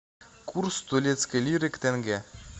курс турецкой лиры к тенге